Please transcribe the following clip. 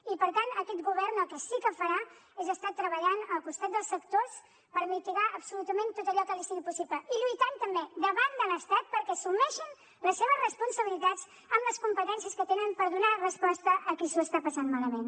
i per tant aquest govern el que sí que farà és estar treballant al costat dels sectors per mitigar absolutament tot allò que li sigui possible i lluitant també davant de l’estat perquè assumeixin les seves responsabilitats amb les competències que tenen per donar resposta a qui s’ho està passant malament